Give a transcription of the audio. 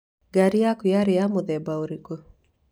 Ngari yaku yarĩ ya mũthemba ũrĩkũ?